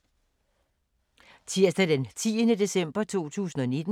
Tirsdag d. 10. december 2019